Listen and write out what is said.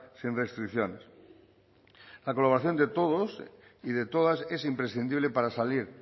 sin restricciones la colaboración de todos y de todas es imprescindible para salir